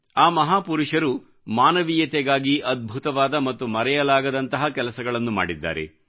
ಆ ಮಹಾಪುರುಷರು ಮಾನವೀಯತೆಗಾಗಿ ಅದ್ಭುತವಾದ ಮತ್ತು ಮರೆಯಲಾಗದಂತಹ ಕೆಲಸಗಳನ್ನು ಮಾಡಿದ್ದಾರೆ